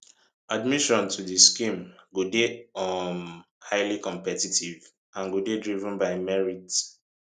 admission to di scheme go dey um highly competitive and go dey driven by merit